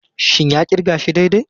Shin ya kirga shi daidai?